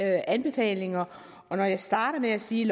anbefalinger og når jeg starter med at sige